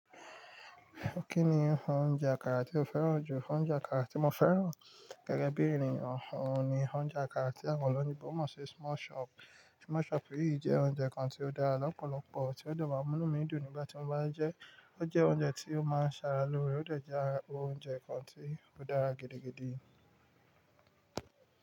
Kí ni oúnjẹ àkàrà tí o fẹ́ràn jù? Oúnjẹ àkàrà tí mo fẹ́ràn gẹ́gẹ́ bí èniyàn, òún ni oúnjẹ àkàrà tí àwọn olóyinbo moń ṣe small shop. Small chop yìí jẹ́ oúnjẹ kan tí ó dára lọ́pọ̀lọpọ̀, tí ó de maa n múnu mi dùn nígbà tí mo bá ń jẹ́. Ó jẹ́ oúnjẹ tí ó máa ń ṣe ara lóore, ó dẹ́ je ará oúnjẹ kan tí ó dára gidigidi.